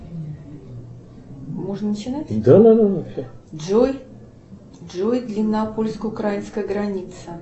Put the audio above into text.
джой джой длина польско украинской границы